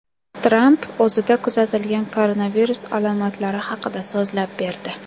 Tramp o‘zida kuzatilgan koronavirus alomatlari haqida so‘zlab berdi.